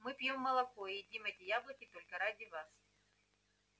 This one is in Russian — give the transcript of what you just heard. мы пьём молоко и едим эти яблоки только ради вас